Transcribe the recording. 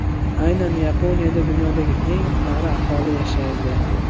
Aynan Yaponiyada dunyodagi eng qari aholi yashaydi.